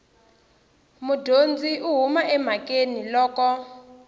mudyondzi u huma emhakeni loko